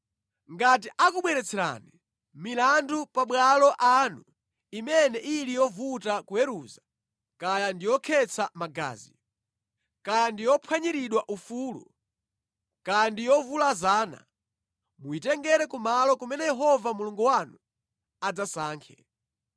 Ngati akubweretserani milandu mʼmabwalo anu imene ili yovuta kuweruza kaya ndi yokhetsa magazi, kaya ndi yophwanyirana ufulu, kaya ndi yovulazana, muyitengere kumalo kumene Yehova Mulungu wanu adzasankhe.